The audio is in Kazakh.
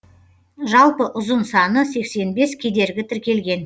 жалпы ұзын саны сексен бес кедергі тіркелген